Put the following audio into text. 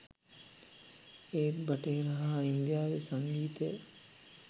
ඒත් බටහිර හා ඉන්දියාවේ සංගීතය